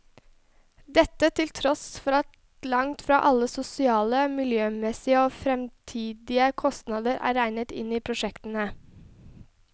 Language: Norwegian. Dette til tross for at langt fra alle sosiale, miljømessige og fremtidige kostnader er regnet inn i prosjektene.